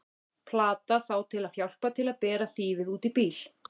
Platað þá til að hjálpa til við að bera þýfið út í bíl!